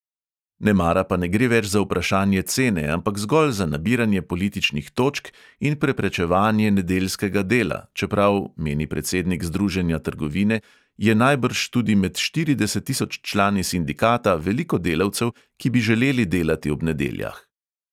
Nemara pa ne gre več za vprašanje cene, ampak zgolj za nabiranje političnih točk in preprečevanje nedeljskega dela, čeprav, meni predsednik združenja trgovine, je najbrž tudi med štirideset tisoč člani sindikata veliko delavcev, ki bi želeli delati ob nedeljah.